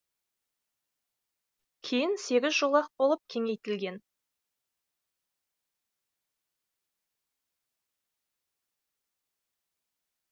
кейін сегіз жолақ болып кеңейтілген